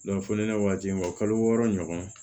foli n'a waati ma kalo wɔɔrɔ ɲɔgɔn